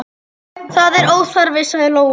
Það er óþarfi, sagði Lóa.